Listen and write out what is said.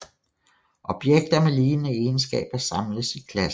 Objekter med lignende egenskaber samles i klasser